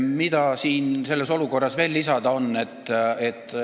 Mida mul selles olukorras veel lisada on?